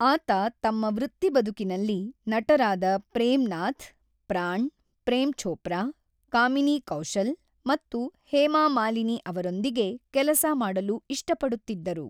ಆತ ತಮ್ಮ ವೃತ್ತಿಬದುಕಿನಲ್ಲಿ, ನಟರಾದ ಪ್ರೇಮ್ ನಾಥ್, ಪ್ರಾಣ್, ಪ್ರೇಮ್ ಚೋಪ್ರಾ, ಕಾಮಿನಿ ಕೌಶಲ್ ಮತ್ತು ಹೇಮಾ ಮಾಲಿನಿ ಅವರೊಂದಿಗೆ ಕೆಲಸ ಮಾಡಲು ಇಷ್ಟಪಡುತ್ತಿದ್ದರು.